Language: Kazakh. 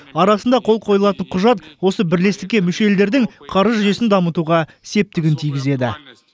арасында қол қойылатын құжат осы бірлестікке мүше елдердің қаржы жүйесін дамытуға септігін тигізеді